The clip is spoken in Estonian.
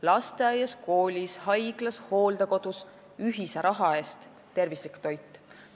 Lasteaias, koolis, haiglas, hooldekodus – ühise raha eest tervislik toit.